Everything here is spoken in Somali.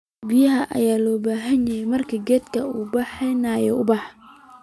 biyo badan aya lobahanye marka gedka u bihinayo ubax